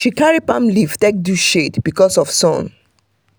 she carry palm leaf take do shade because of sun.